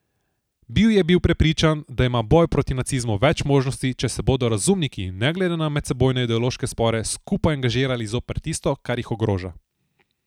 Bil je bil prepričan, da ima boj proti nacizmu več možnosti, če se bodo razumniki, ne glede na medsebojne ideološke spore, skupaj angažirali zoper tisto, kar jih ogroža.